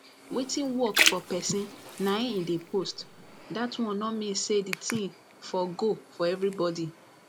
wetin work for person na im e dey post that one no mean say the thing for go for everybody